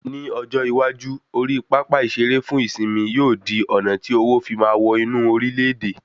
Ni ọjọ iwaju, ori pápá ìsere fún ìsimi yóò di ọ̀nà tí owo fí máa wọ inú orile-ede